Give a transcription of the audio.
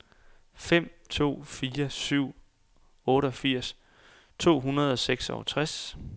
fem to fire syv otteogfirs to hundrede og seksogtres